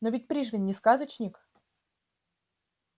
но ведь пришвин не сказочник